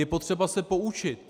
Je potřeba se poučit.